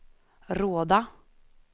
Råda